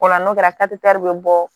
O la n'o kɛra bɛ bɔ